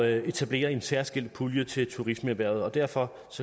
at etablere en særskilt pulje til turismeerhvervet derfor